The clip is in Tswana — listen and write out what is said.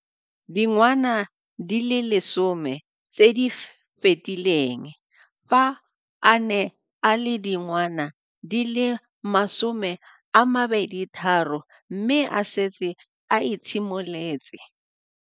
Dingwaga di le 10 tse di fetileng, fa a ne a le dingwaga di le 23 mme a setse a itshimoletse.